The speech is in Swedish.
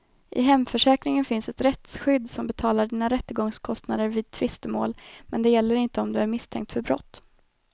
I hemförsäkringen finns ett rättsskydd som betalar dina rättegångskostnader vid tvistemål, men det gäller inte om du är misstänkt för brott.